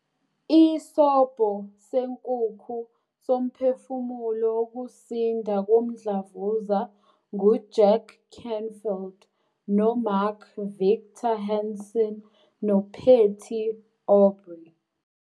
Isobho Senkukhu Somphefumulo Wokusinda Komdlavuza nguJack Canfield noMark Victor Hansen noPatty Aubery